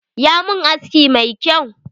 Ya mun aski mai kyau.